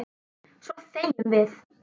Svo þegjum við.